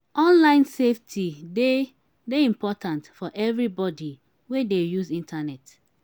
online safety dey dey important for everybody wey dey use internet.